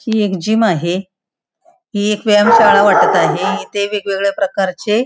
ही एक जिम आहे ही एक व्यायाम शाळा वाटत आहे इथे वेगवेगळ्या प्रकारचे --